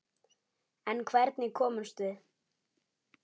En hvernig komumst við?